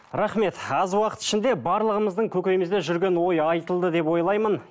рахмет аз уақыт ішінде барлығымыздың көкейімізде жүрген ой айтылды деп ойлаймын